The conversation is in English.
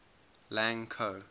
lang ko